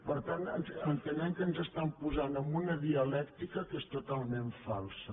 per tant entenem que ens posen en una dialèctica que és totalment falsa